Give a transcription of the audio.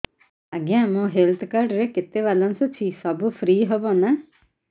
ଆଜ୍ଞା ମୋ health card ରେ କେତେ ବାଲାନ୍ସ ଅଛି ସବୁ ଫ୍ରି ହବ ନାଁ